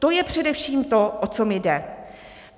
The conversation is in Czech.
To je především to, o co mi jde.